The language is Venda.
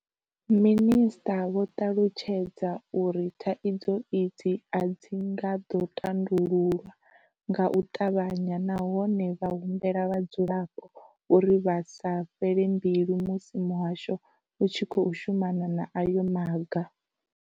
Minisṱa vho ṱalutshedza uri thaidzo idzi a dzi nga ḓo tandululwa nga u ṱavhanya nahone vha humbela vhadzulapo uri vha sa fhele mbilu musi muhasho u tshi khou shumana na ayo maga.